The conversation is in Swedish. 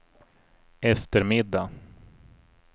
eftermiddag